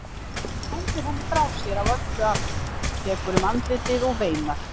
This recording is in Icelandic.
Hann hendir henni frá sér af öllu afli, tekur um andlitið og veinar.